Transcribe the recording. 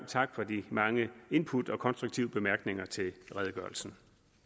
tak for de mange input og konstruktive bemærkninger til redegørelsen